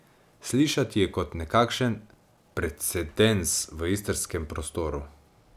Slišati je kot nekakšen precedens v istrskem prostoru.